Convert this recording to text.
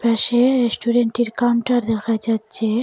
পাশে রেস্টুরেন্টের কাউন্টার দেখা যাচ্ছে।